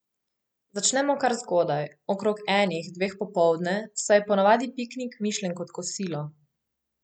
Začnemo kar zgodaj, okrog enih, dveh popoldne, saj je po navadi piknik mišljen kot kosilo.